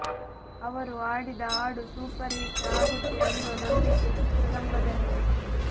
ಅವರು ಹಾಡಿದ ಹಾಡು ಸೂಪರ್ ಹಿಟ್ ಆಗುತ್ತೆ ಅನ್ನೋ ನಂಬಿಕೆ ಚಿತ್ರರಂಗದಲ್ಲಿದೆ